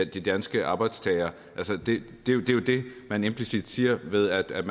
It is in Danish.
de danske arbejdstagere altså det er jo det man implicit siger ved at